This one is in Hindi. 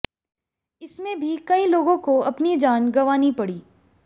इसमें भी कई लोगों को अपनी जान गंवानी पड़ी